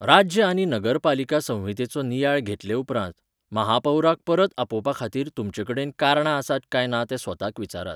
राज्य आनी नगरपालिका संहितेचो नियाळ घेतले उपरांत, म्हापौराक परत आपोवपाखातीर तुमचे कडेन कारणां आसात काय ना तें स्वताक विचारात.